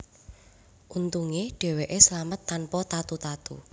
Untunge dheweke slamet tanpa tatu tatu